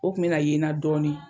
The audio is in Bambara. O kun be ka ye na dɔɔnin